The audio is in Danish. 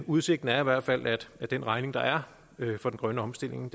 udsigten er i hvert fald at den regning der er for den grønne omstilling